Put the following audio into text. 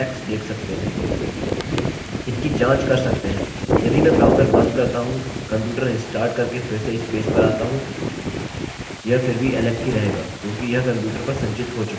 इसकी जाँच कर सकते हैं यदि मैं ब्राउज़र बंद करता हूँ कंप्यूटर रिस्टार्ट करके फिर से इस पेज पर आता हूँ यह फिर भी alex ही रहेगा क्योंकि यह कंप्यूटर पर संचित हो चुका है